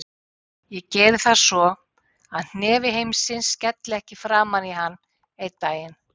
Ég geri það svo að hnefi heimsins skelli ekki framan í hann einn daginn.